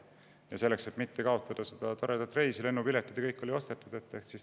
Ja selleks, et mitte kaotada toredat reisi – lennupiletid ja kõik muu oli juba ostetud –, tehti aborti.